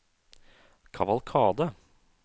kavalkade